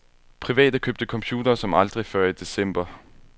Private købte computere som aldrig før i december.